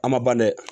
A ma ban dɛ